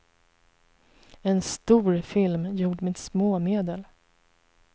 En stor film gjord med små medel.